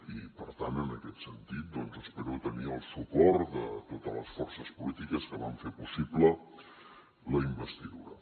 i per tant en aquest sentit doncs espero tenir el suport de totes les forces polítiques que van fer possible la investidura